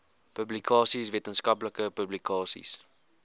publikasies wetenskaplike publikasies